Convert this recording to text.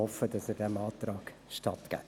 Ich hoffe, Sie geben diesem Antrag statt.